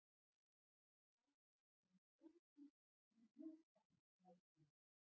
Sækja í frelsið í úthafsrækjunni